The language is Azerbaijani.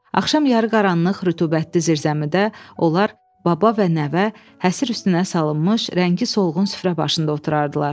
Axşam yarıqaranlıq, rütubətli zirzəmidə onlar baba və nəvə həsir üstünə salınmış rəngi solğun süfrə başında oturardılar.